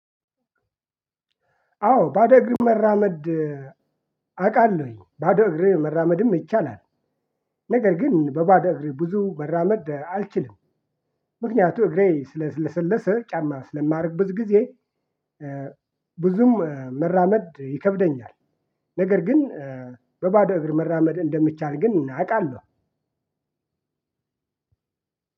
አዎ ባዶ እግር መራመድ አውቃለሁኝ ባዶ እግር መራመድም ይቻላል። ነገር ግን በባዶ እግሬ ብዙ በራመድ አልችልም። ምክንያቱም እግሬ ስለ ለሰለሰ ጫማ ስለማደርግበት ጊዜ። ብዙም መራመድ ይከብደኛል። ነገር ግን በባዶ እግር መራመድ እንደሚቻል ግን አውቃለሁ።